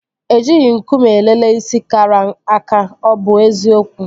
E jighị nkume elele isi kara aka. Ọ bụ eziokwu?